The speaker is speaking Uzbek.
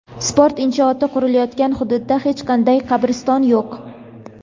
sport inshooti qurilayotgan hududda hech qanday "qabriston yo‘q".